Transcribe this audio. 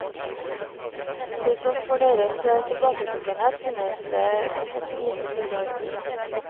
Til tross for deres tilbaketrukkenhet, finnes det et lite bildearkiv.